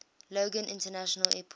logan international airport